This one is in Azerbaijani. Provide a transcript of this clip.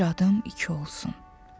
Bir adım iki olsun.